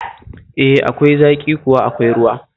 E, akwai zaƙi kuma akwai ruwa